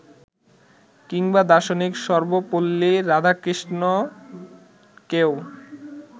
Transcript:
কিংবা দার্শনিক সর্বপল্লী রাধাকৃষ্ণনকেও